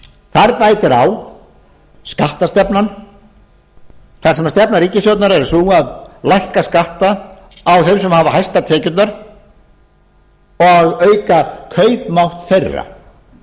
þar bætir á skattastefnan þar sem stefna ríkisstjórnarinnar er sú að lækka skatta á þeim sem hafa hæstar tekjurnar og auka kaupmátt þeirra